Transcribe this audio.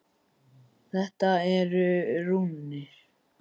Þetta eru rúnir.